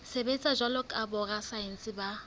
sebetsa jwalo ka borasaense ba